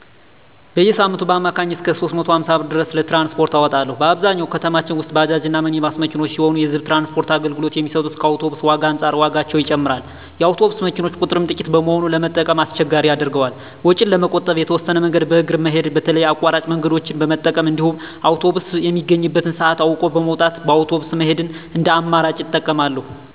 በየሳምንቱ በአማካኝ እስከ 350 ብር ድረስ ለትራንስፖርት አወጣለሁ። በአብዛኛው ከተማችን ውስጥ ባጃጅ እና ሚኒባስ መኪኖች ሲሆኑ የህዝብ ትራንስፖርት አገልግሎት የሚሰጡት ከአውቶብስ ዋጋ አንፃር ዋጋቸው ይጨምራል። የአውቶቡስ መኪኖች ቁጥርም ጥቂት በመሆኑ ለመጠቀም አስቸጋሪ ያደርገዋል። ወጪን ለመቆጠብ የተወሰነ መንገድን በእግር መሄድ በተለይ አቋራጭ መንገደኞችን በመጠቀም እንዲሁም አውቶብስ የሚገኝበትን ሰአት አውቆ በመውጣት በአውቶብስ መሄድን እንደ አማራጭ እጠቀማለሁ።